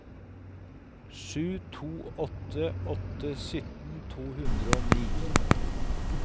sju to åtte åtte sytten to hundre og ni